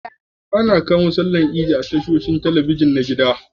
Ana iya kamo bikin sallar idi a tashoshin talabijin na gida.